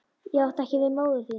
Ég átti ekki við móður mína.